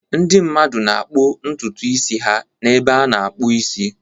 Ndị mmadụ na-akpụ ntutu isi ha n'ebe a na-akpụ isi.